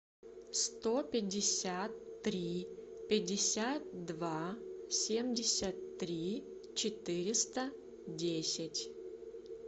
сто пятьдесят три пятьдесят два семьдесят три четыреста десять